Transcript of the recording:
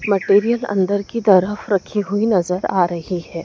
Material अंदर की तरफ रखी हुई नजर आ रही है।